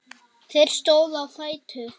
Þeir stóðu á fætur.